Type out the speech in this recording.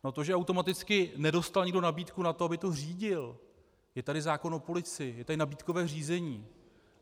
Na to, že automaticky nedostal nikdo nabídku na to, aby to řídil - je tady zákon o policii, je tady nabídkové řízení.